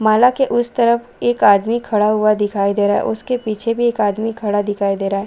माला के उस तरफ एक आदमी दिखाई दे रहा है उसके पीछे भी एक आदमी दिखाई दे रहा हैं ।.